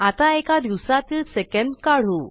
आता एका दिवसातील सेकंद काढू